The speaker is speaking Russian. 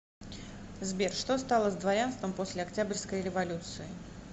сбер что стало с дворянством после октябрьской революции